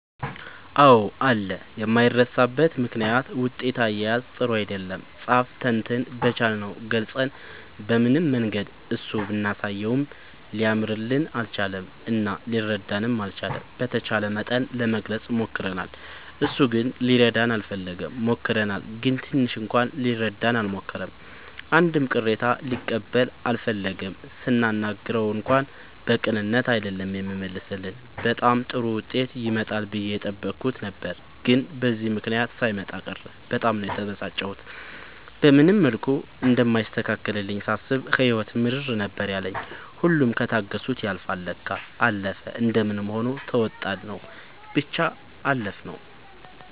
አዎ አለ የማይረሳበት ምክንያት ውጤት አያያዝ ጥሩ አይደለም ፃፍ ተፈትነን በቻልነው ገልፀን በምንም መንገድ እሱ ብናሳየውም ሊያርምልን አልቻለም እና ሊረዳንም አልቻለም። በተቻለ መጠን ለመግለፅ ሞክርናል እሱ ግን ሊረዳን አልፈለገም። ሞክረናል ግን ትንሽ እንኳን ሊረዳን አልሞከረም አንድም ቅሬታ ሊቀበል አልፈለገም ስናናግረው እንኳን በቅንነት አይደለም የሚመልስልን በጣም ጥሩ ዉጤት ይመጣል ብዬ የጠበኩት ነበር ግን በዚህ ምክንያት ሳይመጣ ቀረ በጣም ነው የተበሳጨሁት። በምንም መልኩ እንደማይስተካከልልኝ ሳስብ ህይወት ምርር ነበር ያለኝ ሁሉም ከታገሱት ያልፍል ለካ። አለፈ እንደምንም ሆኖ ተዉጣንው ብቻ አለፍነው።